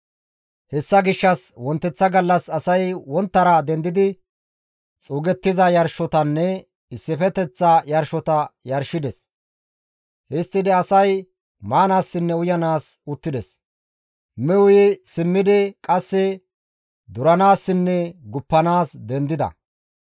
Hessa gishshas wonteththa gallas asay wonttara dendidi xuugettiza yarshotanne issifeteththa yarshota yarshides. Histtidi asay maanaassinne uyanaas uttides. Mi uyi simmidi qasse duranaassinne guppanaas dendides.